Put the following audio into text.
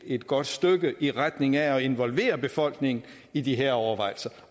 et godt stykke i retning af at involvere befolkningen i de her overvejelser